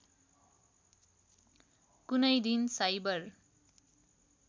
कुनै दिन साइबर